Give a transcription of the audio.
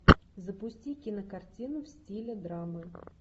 запусти кинокартину в стиле драмы